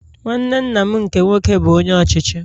Nwanne nna m nkem nwoke bụ Onye Ọchịchị